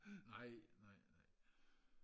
nej nej nej